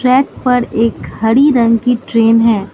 Track पर एक हरी रंग की ट्रेन है।